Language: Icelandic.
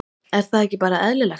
Er það ekki bara eðlilegt?